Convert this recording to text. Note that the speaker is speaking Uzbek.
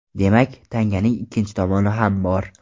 Demak, tanganing ikkinchi tomoni ham bor.